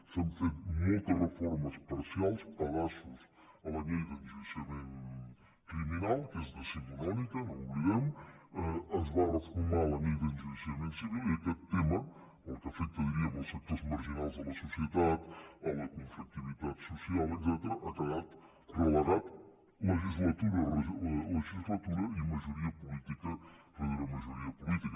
s’han fet moltes reformes parcials pedaços a la llei d’enjudiciament criminal que és decimonònica no ho oblidem es va reformar la llei d’enjudiciament civil i aquest tema el que afecta diríem els sectors marginals de la societat la conflictivitat social etcètera ha quedat relegat legislatura rere legislatura i majoria política rere majoria política